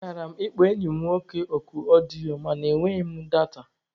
Akara m ịkpọ enyi m nwoke oku ọdịyo mana e nweghị m data